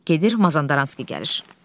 Gedir, Mazandaranski gəlir.